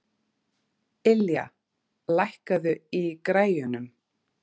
Ylja, lækkaðu í græjunum.